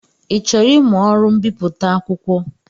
Ị chọrọ ịmụ ọrụ mbipụta akwụkwọ?